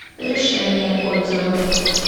решение отзывы